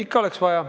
Ikka oleks vaja.